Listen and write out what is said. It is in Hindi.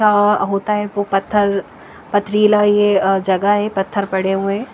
का होता है वो पत्थर पथरीला ये जगह है पत्थर पड़े हुए हैं।